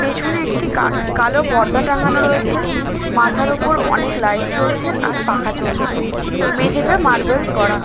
পেছনে একটি কার কালো পর্দা টাঙানো রয়েছে। মাথার ওপর অনেক লাইট জলছে আর পাখা চলছে। মেঝেটা মার্বেল করা।